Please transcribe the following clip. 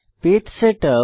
page setup